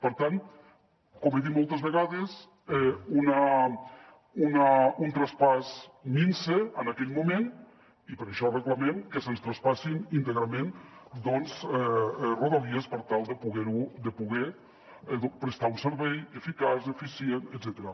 per tant com he dit moltes vegades un traspàs minso en aquell moment i per això reclamem que se’ns traspassin íntegrament rodalies per tal de poder prestar un servei eficaç eficient etcètera